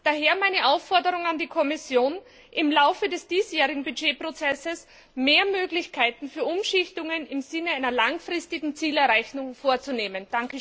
Daher meine Aufforderung an die Kommission, im Laufe des diesjährigen Budgetprozesses mehr Möglichkeiten für Umschichtungen im Sinne einer langfristigen Zielerreichung vorzunehmen.